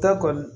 Ta kɔni